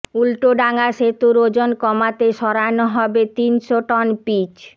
উল্টোডাঙা সেতুর ওজন কমাতে সরানো হবে তিনশো টন পিচ